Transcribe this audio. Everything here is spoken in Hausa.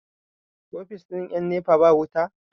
ofis ɗin 'yan nepa ba wuta?